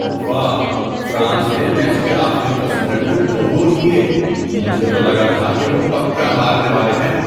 واہ! فرانس نے میچ کے آخری دس منٹ میں دو گول کیے! مجھے تو لگا تھا کہ وہ پکا ہارنے والے ہیں۔